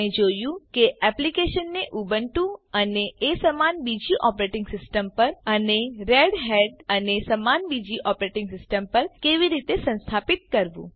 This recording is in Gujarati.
આપણે જોયું કે એક્લીપ્સ ને ઉબુન્ટુ અને એ સમાન બીજી ઓપરેટીંગ સીસ્ટમ પર અને રેડહેટ અને એ સમાન બીજી ઓપરેટીંગ સીસ્ટમ પર કેવી રીતે સંસ્થાપીત કરવું